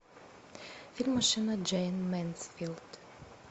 фильм машина джейн мэнсфилд